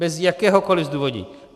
Bez jakéhokoliv zdůvodnění.